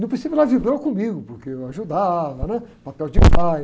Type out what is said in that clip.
No princípio ela vibrou comigo, porque eu ajudava, né? Papel de pai.